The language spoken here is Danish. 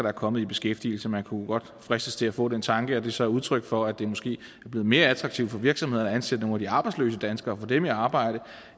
er kommet i beskæftigelse man kunne godt fristes til at få den tanke at det så er udtryk for at det måske er blevet mere attraktivt for virksomhederne at ansætte nogle de arbejdsløse danskere og få dem i arbejde